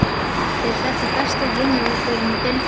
Er þetta besti heimavöllurinn í deildinni?